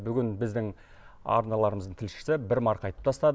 бүгін біздің арналарымыздың тілшісі бір марқайтып тастады